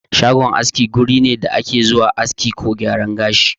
Shagon aski wuri ne da ake zuwa aski ko gyaran gashi.